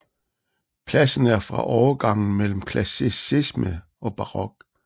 Pladsen er fra overgangen mellem klassicisme og barok